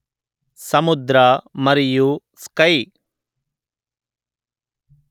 సముద్ర మరియు స్కై